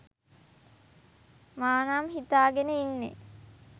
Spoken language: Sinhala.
මා නම් හිතාගෙන ඉන්නේ.